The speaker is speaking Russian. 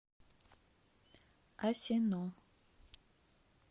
асино